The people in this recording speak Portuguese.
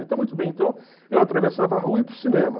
Então, muito bem, então eu atravessava a rua e ia para o cinema.